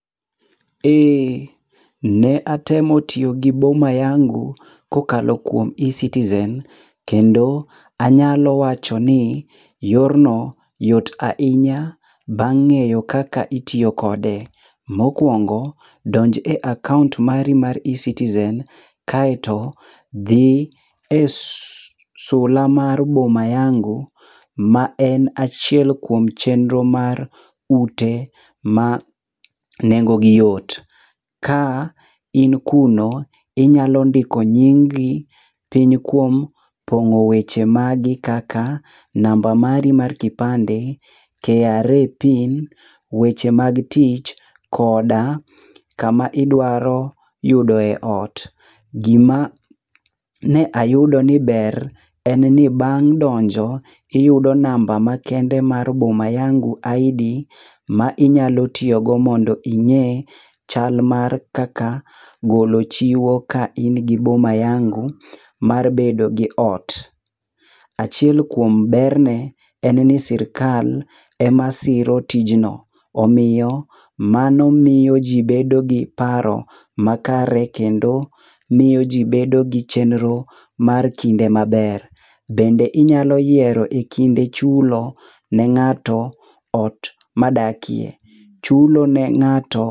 Ee ne atemo tiyo gi boma yangu ko okalo kuom ecitizen kendo anya wacho ni yor no yoot ahinya bang' ngeyo kaka itiyo kode, mokuongo donj e akaunt mari mar ecitizen dhi e sula mar boma yangu ma en achiel kuom chenro mar ute ma nengo gi yot ka in kuro inyalo ndiko nyingi piny kuom pong'o weche magi kaka namba mari mar kipande kra pin weche mag tich koda ku ma idwaro yudo e ot gi ma ne ayudo ni ber en ni bang' donjo iyudo ni namba makende mar boma yangi id ma inyalo tiyo go mondo ing'e chal mar kaka golo chiwo ka in gi boma yangu mondo ibed gi ot. Achiel kuom ber ne en ni sirkal e ma siro tijno, omiyo mano miyo ji bedo gi paro makare kendo miyo ji bedo gi chenro mar kinde ma ber kendo inyalo yiero kinde chulo ne ng'ato ma dakie. Chulo ne ng'ato